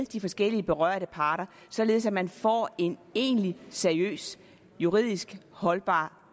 de forskellige berørte parter således at man får en egentlig seriøs juridisk holdbar